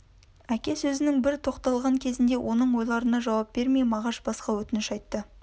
әке сөзінің бір тоқталған кезінде оның ойларына жауап бермей мағаш басқа өтініш айтты